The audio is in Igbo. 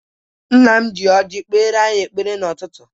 Nna m ji ọjị kpere anyị ekpere n'ụtụtụ.